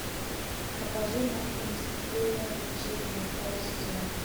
покажи мультфильм смертельное влечение второй сезон